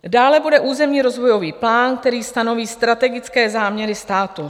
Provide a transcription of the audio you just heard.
Dále bude územní rozvojový plán, který stanoví strategické záměry státu.